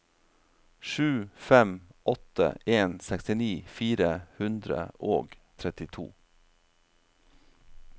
sju fem åtte en sekstini fire hundre og trettito